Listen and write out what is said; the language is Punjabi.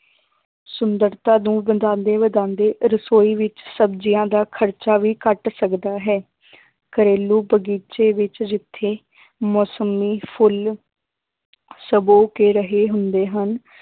ਸੁੰਦਰਤਾ ਨੂੰ ਵਧਾਉਂਦੇ ਵਧਾਉਂਦੇ ਰਸੋਈ ਵਿੱਚ ਸਬਜ਼ੀਆਂ ਦਾ ਖ਼ਰਚਾ ਵੀ ਘੱਟ ਸਕਦਾ ਹੈ ਘਰੇਲੂ ਬਗ਼ੀਚੇ ਵਿੱਚ ਜਿੱਥੇ ਮੋਸੱਮੀ, ਫੁੱਲ ਸੁਬੋ ਕੇ ਰਹੇ ਹੁੰਦੇ ਹਨ